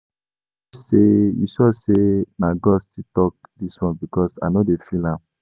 You sure say You sure say na God still talk dis one because I no dey feel am